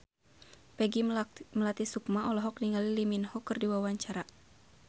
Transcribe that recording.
Peggy Melati Sukma olohok ningali Lee Min Ho keur diwawancara